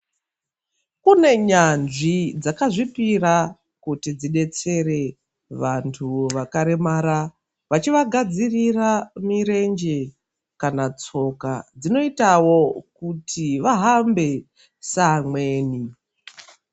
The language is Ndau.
Kune nyanzvi dzakazvipira kuti dzidetsere vantu vakaremara vachivagadzirira mirenje kana tsoka dzinoitawo kuti vahambe seamweni.